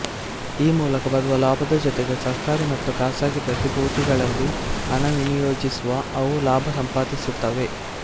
ಈ ಮೂಲಕ ಬರುವ ಲಾಭದ ಜೊತೆಗೆ ಸರ್ಕಾರಿ ಮತ್ತು ಖಾಸಗಿ ಪ್ರತಿಭೂತಿಗಳಲ್ಲಿ ಹಣ ವಿನಿಯೋಜಿಸಿಯೂ ಅವು ಲಾಭ ಸಂಪಾದಿಸುತ್ತವೆ